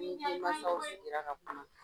N nii denmasaw sigira ka kuma.